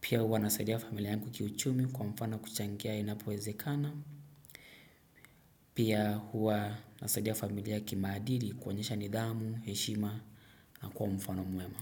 Pia huwa nasaidia familia yangu kiuchumi kwa mfano kuchangia inapowezekana. Pia huwa nasaidia familia kimaadili kuonyesha nidhamu, heshima na kuwa mfano mwema.